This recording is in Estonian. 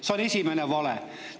See oli esimene vale.